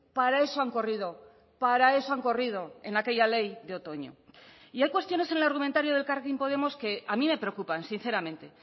para eso han corrido para eso han corrido en aquella ley de otoño y hay cuestiones en el argumentario de elkarrekin podemos que a mí me preocupan sinceramente